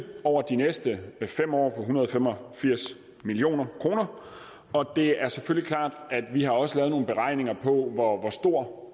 over de næste fem år på en hundrede og fem og firs million kr og det er selvfølgelig klart at vi også har lavet nogle beregninger på hvor stor